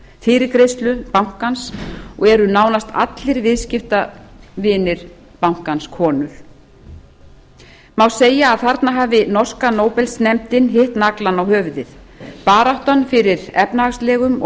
fyrirgreiðslu bankans og eru nánast allir viðskiptavinir hans konur má segja að þarna hafi norska nóbelsnefndin hitti naglann á höfuðið baráttan fyrir efnahagslegum og